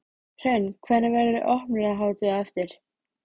Hrönn, hvernig, verður opnunarhátíð á eftir?